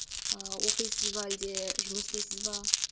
ыыы оқисыз ба әлде жұмыс істейсіз бе